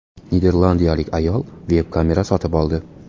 Niderlandiyalik ayol veb-kamera sotib oldi.